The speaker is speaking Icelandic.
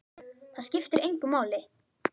Það skiptir engu máli!